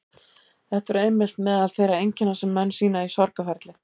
Þetta eru einmitt meðal þeirra einkenna sem menn sýna í sorgarferli.